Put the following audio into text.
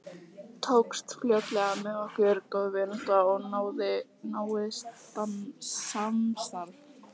Tókst fljótlega með okkur góð vinátta og náið samstarf.